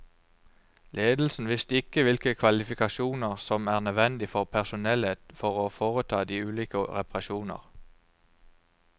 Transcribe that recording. Ledelsen visste ikke hvilke kvalifikasjoner som er nødvendig for personellet for å foreta de ulike reparasjoner.